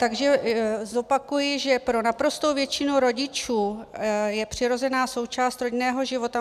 Takže zopakuji, že pro naprostou většinu rodičů je přirozená součást rodinného života.